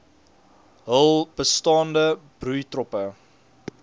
hul bestaande broeitroppe